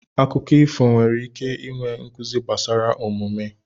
Akụkọ ifo nwere ike inwe nkuzi gbasara omume.